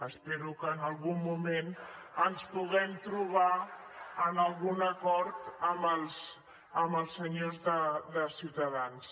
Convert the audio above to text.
espero que en algun moment ens puguem trobar en algun acord amb els senyors de ciutadans